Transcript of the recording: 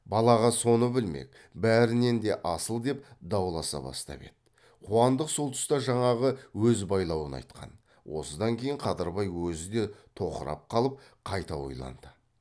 балаға соны білмек бәрінен де асыл деп дауласа бастап еді қуандық сол тұста жаңағы өз байлауын айтқан осыдан кейін қадырбай өзі де тоқырап қалып қайта ойланды